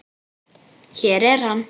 Hér er hann.